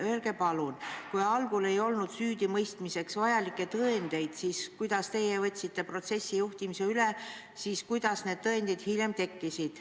Öelge palun, kui algul ei olnud süüdimõistmiseks vajalikke tõendeid, siis kuidas siis, kui teie võtsite protsessi juhtimise üle, need tõendid hiljem tekkisid.